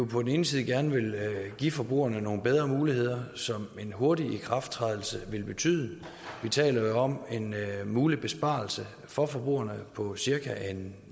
på den ene side gerne vil give forbrugerne nogle bedre muligheder som en hurtig ikrafttræden vil betyde vi taler jo om en mulig besparelse for forbrugerne på cirka en